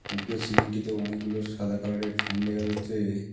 উপরের সিলিংটিতে অনেকগুলো সাদা কালারের ফ্যান দেখা যাচ্ছে।